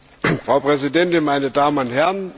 Frau Präsidentin, meine Damen und Herren!